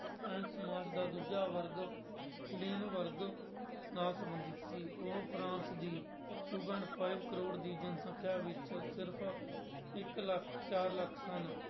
France ਸਮਾਜ ਦਾ ਦੂਜਾ ਵਰਗ ਕੁਲੀਨ ਵਰਗ ਨਾਲ ਸੰਬੰਧਿਤ ਸੀ ਉਹ ਫਰਾਂਸ ਦੀ two point five ਕਰੋੜ ਦੀ ਜਨਸੰਖਿਆ ਵਿੱਚ ਸਿਰਫ਼ ਇੱਕ ਲੱਖ, ਚਾਰ ਲੱਖ ਸਨ।